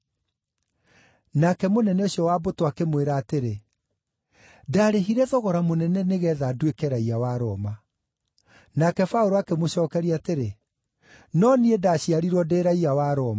Nake mũnene ũcio wa mbũtũ akĩmwĩra atĩrĩ, “Ndarĩhire thogora mũnene nĩgeetha nduĩke raiya wa Roma.” Nake Paũlũ akĩmũcookeria atĩrĩ, “No niĩ ndaaciarirwo ndĩ raiya wa Roma.”